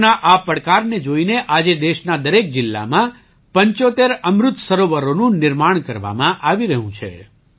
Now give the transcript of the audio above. ભવિષ્યના આ પડકારને જોઈને આજે દેશના દરેક જિલ્લામાં 75 અમૃત સરોવરોનું નિર્માણ કરવામાં આવી રહ્યું છે